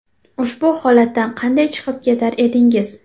Ushbu holatdan qanday chiqib ketar edingiz?